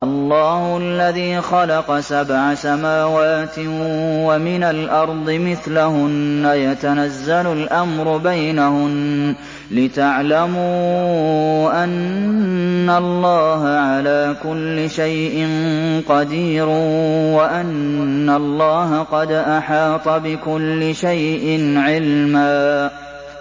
اللَّهُ الَّذِي خَلَقَ سَبْعَ سَمَاوَاتٍ وَمِنَ الْأَرْضِ مِثْلَهُنَّ يَتَنَزَّلُ الْأَمْرُ بَيْنَهُنَّ لِتَعْلَمُوا أَنَّ اللَّهَ عَلَىٰ كُلِّ شَيْءٍ قَدِيرٌ وَأَنَّ اللَّهَ قَدْ أَحَاطَ بِكُلِّ شَيْءٍ عِلْمًا